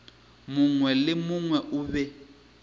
mongwe le mongwe o be